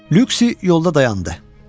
Lüksi yolda dayandı.